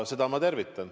Seda ma tervitan.